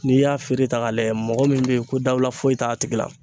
N'i y'a feere ta ka layɛ mɔgɔ min bɛ yen ko dawula foyi t'a tigi la.